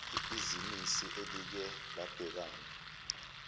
bhizinisi elike labhekana